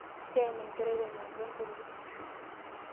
Teena enkerai te nanka te nkoriong.